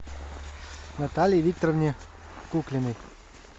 наталье викторовне куклиной